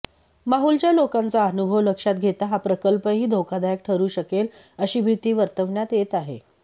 माहुलच्या लोकांचा अनुभव लक्षात घेता हा प्रकल्पही धोकादायक ठरू शकेल अशी भीती वर्तवण्यात येत आहे